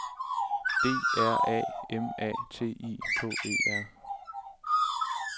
D R A M A T I K E R